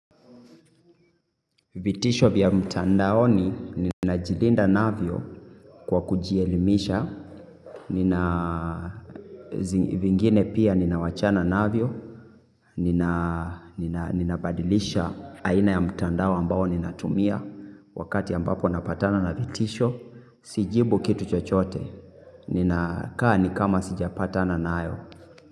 Vitisho vya mtandaoni ninajilinda navyo kwa kujielimisha, vingine pia ninawachana navyo, nina badilisha haina ya mtandao ambao ninatumia wakati ambapo napatana na vitisho, sijibu kitu chochote, ninakaa nikama sijapatana nayo.